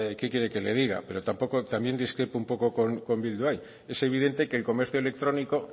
qué quiere que le diga pero también discrepo un poco con bildu ahí es evidente que el comercio electrónico